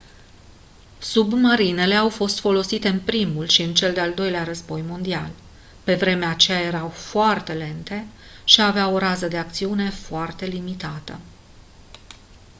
submarinele au fost folosite în primul și în cel de-al doilea război mondial pe vremea aceea erau foarte lente și aveau o rază de acțiune foarte limitată